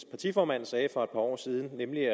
partiformand sagde for år siden nemlig at